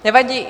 Nevadí.